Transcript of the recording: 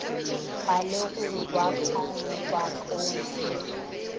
ga legogwa ka ngwakong le